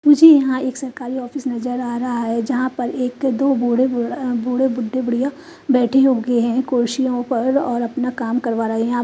मुझे यहाँ एक सरकारी ऑफिस नजर आ रहा है जहां पर एक दो बूढ़े बुढ़ अ बूढ़े बुड्ढे बुढ़िया बैठी होगे हैं कुर्सियों पर और अपना काम करवा रहे हैं आ--